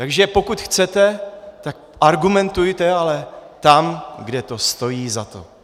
Takže pokud chcete, tak argumentujte, ale tam, kde to stojí za to.